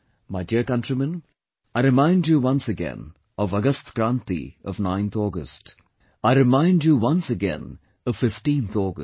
My dear countrymen, I remind you once again of 'Agast Kranti', of 9th August, I remind you once again of 15th August